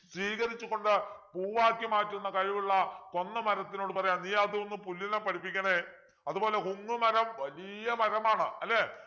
സ്വീകരിച്ചുകൊണ്ട് പൂവാക്കി മാറ്റുന്ന കഴിവുള്ള കൊന്നമരത്തിനോട് പറയാണ് നീ അതൊന്നു പുല്ലിനെ പഠിപ്പിക്കണേ അതുപോലെ ഉങ്ങുമരം വലിയ മരമാണ്